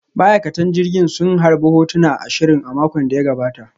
Ma'aikatan jirgin sun harbe hotuna ashirin a makon da ya gabata